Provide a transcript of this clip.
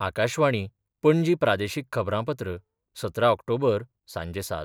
आकाशवाणी, पणजी प्रादेशीक खबरांपत्र ,सतरा ऑक्टोबर, सांजे सात.